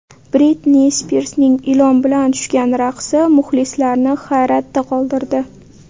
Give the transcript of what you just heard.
Britni Spirsning ilon bilan tushgan raqsi muxlislarni hayratda qoldirdi .